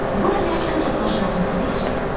Bura nə üçün toplaşmağımızı bilirsiz?